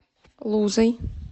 лузой